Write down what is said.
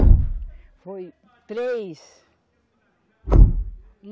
Não, foi três.